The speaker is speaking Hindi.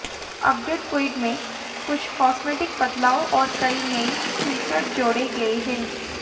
अपडेट क्विड में कुछ कॉस्मेटिक बदलाव और कई नए फीचर जोड़े गए हैं